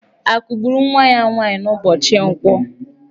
A kụgburu nwa ya nwaanyị n'ụbọchị nkwọ?